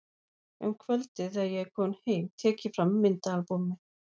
Um kvöldið þegar ég er kominn heim tek ég fram myndaalbúmið.